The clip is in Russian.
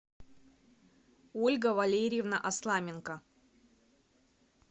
ольга валерьевна осламенко